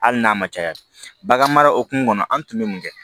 Hali n'a ma caya bagan mara hukumu kɔnɔ an tun bɛ mun kɛ